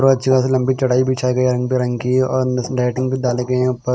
और अच्छी खासी लंबी चटाई बिछाई गई रंग बिरंगी र अंदर से डाइटिंग भी डाले गए यह पर।--